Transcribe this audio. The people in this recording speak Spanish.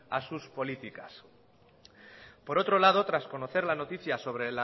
a sus políticas por otro lado tras conocer la noticia sobre